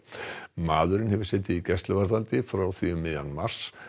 maðurinn hefur setið í gæsluvarðhaldi frá því um miðjan mars